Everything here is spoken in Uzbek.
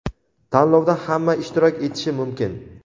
Tanlovda hamma ishtirok etishi mumkin.